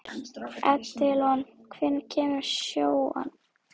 Edilon, hvenær kemur sjöan?